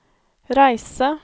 reise